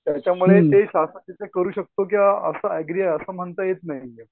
त्याच्यामुळे ते तिथं करू शकतो किंवा असं म्हणता येत नाही.